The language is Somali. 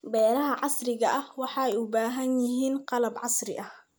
Beeraha casriga ahi waxay u baahan yihiin qalab casri ah.